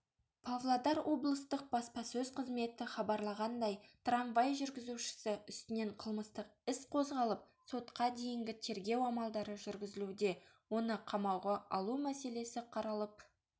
павлодар облыстық баспасөз қызметі хабарлағандай трамвай жүргізушісі үстінен қылмыстық іс қозғалып сотқа дейінгі тергеу амалдары жүргізілуде оны қамауға алу мәселесі қаралып